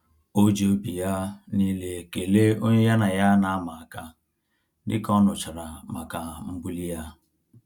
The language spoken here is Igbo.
O ji obi ya niile kelee onye ya na ya na ama-aka, dịka ọ nụchara maka mbuli ya